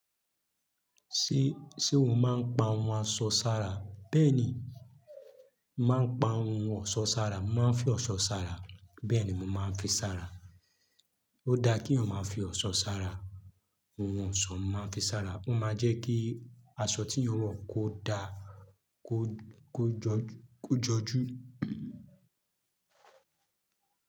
Ṣé, ṣe o máa ń pa ohun ọ̀ṣọ́ sára? Bẹ́ẹ̀ ni, mo màá ń pa ohun ọ̀ṣọ́ sára, màá ń fi ọ̀ṣọ́ sára. Bẹ́ẹ̀ ni mò máa ń fi sára. Ó dà kí èyàn máa fi ọ̀ṣọ́ sára. Ohun ọ̀ṣọ́ mo máa ń fi sára. Ó máa ń jẹ́ kí aṣọ tí èyàn wọ̀ kó dà, kó, kó jọ, kó jọjú.